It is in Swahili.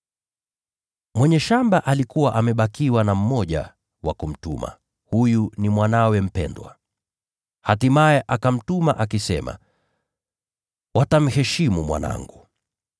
“Mwenye shamba alikuwa bado na mmoja wa kumtuma, mwanawe aliyempenda. Hatimaye akamtuma akisema, ‘Watamheshimu mwanangu.’